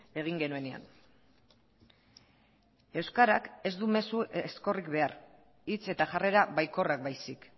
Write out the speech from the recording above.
egin genuenean euskarak ez du mezu ezkorrik behar hitz eta jarrera baikorrak baizik